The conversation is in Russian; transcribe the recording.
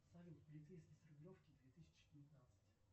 салют полицейский с рублевки две тысячи девятнадцать